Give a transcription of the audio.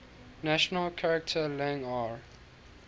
national charter lang ar